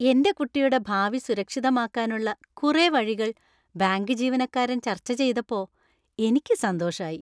എന്‍റെ കുട്ടിയുടെ ഭാവി സുരക്ഷിതമാക്കാനുള്ള കുറെ വഴികൾ ബാങ്ക് ജീവനക്കാരൻ ചർച്ച ചെയ്തപ്പോ എനിക്ക് സന്തോഷായി.